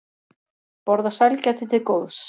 Borða sælgæti til góðs